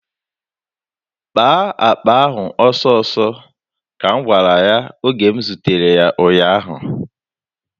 "Kpaa akpa ahụ ọsọọsọ," ka m gwara ya oge m zutere ya ụnyaahụ.